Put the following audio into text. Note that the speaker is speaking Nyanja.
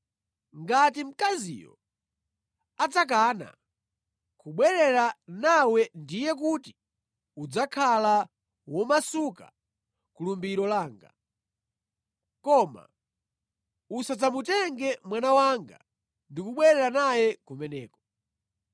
Ngati mkaziyo adzakana kubwerera nawe ndiye kuti udzakhala womasuka ku lumbiro langa. Koma usadzamutenge mwana wanga ndi kubwerera naye kumeneko.”